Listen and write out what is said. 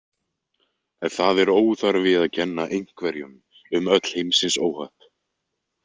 Það er óþarfi að kenna einhverjum um öll heimsins óhöpp.